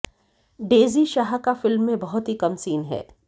daisy Shah का film में बहुत ही कम सीन है